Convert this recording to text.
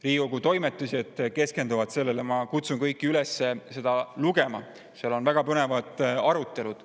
Riigikogu Toimetised keskenduvad sellele ja ma kutsun kõiki üles seda lugema, seal on väga põnevad arutelud.